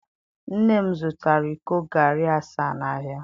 nnem zụtara iko garri asaa n'ahịa.